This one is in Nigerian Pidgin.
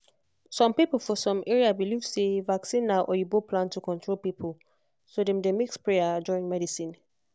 some people for some area believe say vaccine na oyibo plan to control people so dem dey mix prayer join medicine.